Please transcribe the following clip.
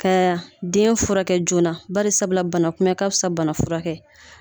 Ka den furakɛ joona bari sabula bana kunbɛn ka fisa bana furakɛ